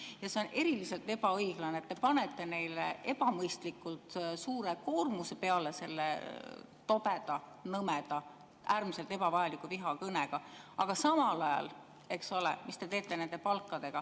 Ja see on eriliselt ebaõiglane, et te panete neile ebamõistlikult suure koormuse peale selle tobeda, nõmeda, äärmiselt ebavajaliku vihakõne, aga samal ajal, eks ole, mis te teete nende palkadega …